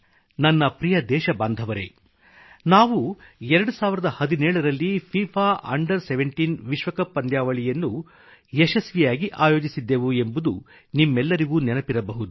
ನನ್ನ ಪ್ರಿಯ ದೇಶಬಾಂಧವರೇ ನಾವು 2017 ರಲ್ಲಿ ಫಿಫಾ ಅಂಡರ್ 17 ವಿಶ್ವಕಪ್ ಪಂದ್ಯಾವಳಿಯನ್ನು ಯಶಸ್ವಿಯಾಗಿ ಆಯೋಜಿಸಿದ್ದೆವು ಎಂಬುದು ನಿಮ್ಮೆಲ್ಲರಿಗೂ ನೆನಪಿರಬಹುದು